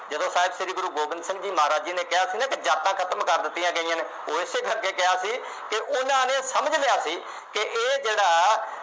ਜਦੋਂ ਸਾਹਿਬ ਸ਼੍ਰੀ ਗੁਰੂ ਗੋਬਿੰਦ ਸਿੰਘ ਜੀ ਮਹਾਰਾਜ ਜੀ ਨੇ ਕਿਹਾ ਸੀ ਨਾ ਕਿ ਜਾਤਾਂ ਖਤਮ ਕਰ ਦਿੱਤੀਆਂ ਗਈਆਂ ਨੇ, ਉਹ ਇਸੇ ਕਰਕੇ ਕਿਹਾ ਸੀ ਕਿ ਉਹਨਾ ਨੇ ਸਮਝ ਲਿਆ ਸੀ, ਕਿ ਇਹ ਜਿਹੜਾ